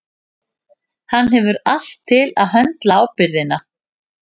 Hann hefur allt til að höndla ábyrgðina.